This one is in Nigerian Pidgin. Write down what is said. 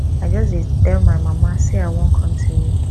i just dey tell my my mama say i wan come see you